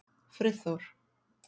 Friðþór